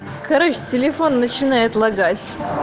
короче телефон начинает лагать